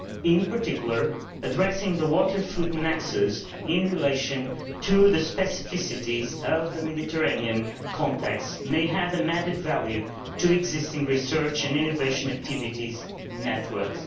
In particular, addressing the water food nexus in relation to the specificities of the Mediterranean context may have added value for existing research and innovation activities and networks.